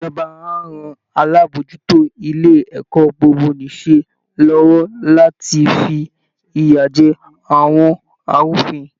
Ìjọba á ran alábòójútó ilé ẹ̀kọ́ gbogbo-nìṣe lọ́wọ́ láti fi ìyà jẹ àwọn arúfin